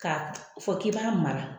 k'a fɔ k'i b'a mara.